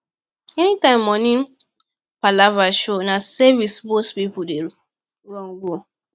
anytime money palava show na savings most people dey run go